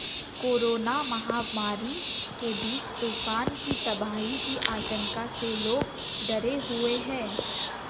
corona महामारी के बीच तूफान की तबाही की आशंका से लोग डरे हुए हैं